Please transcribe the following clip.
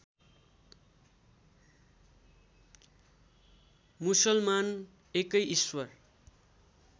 मुसलमान एकै ईश्वर